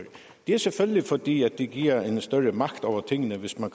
det er selvfølgelig fordi det giver en større magt over tingene hvis man